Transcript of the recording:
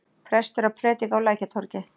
Prestur að prédika á Lækjartorgi!